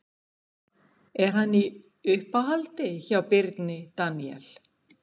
Er hann í uppáhaldi hjá Birni Daníel?